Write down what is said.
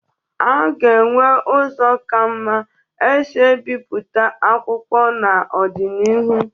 A ga-enwe ụzọ ka mma e si ebipụta akwụkwo n'ọdịnihu.